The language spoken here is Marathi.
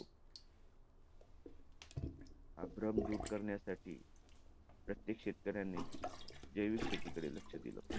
हा भ्रम दूर कारण्यासाठी प्रत्येक शेतकऱ्याने जैविक शेतीकडे लक्ष दिलं पाहिजे.